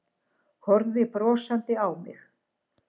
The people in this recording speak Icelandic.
Horfði brosandi á mig.